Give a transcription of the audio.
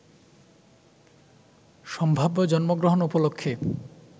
সম্ভাব্য জন্মগ্রহণ উপলক্ষ্যে